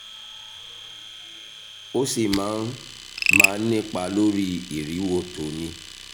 ó sì máa ń máà nípa lórí ìrìwò tó o ní